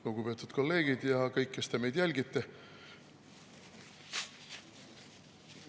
Lugupeetud kolleegid ja kõik, kes te meid jälgite!